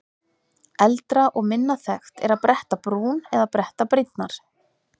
Eldra og minna þekkt er að bretta brún eða bretta brýnnar.